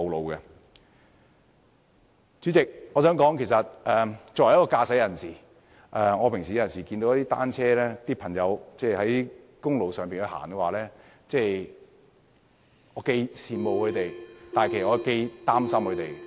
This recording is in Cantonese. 代理主席，我想指出的是作為一名駕駛者，當我日常看到單車使用者在公路上行駛，我既羨慕又擔心。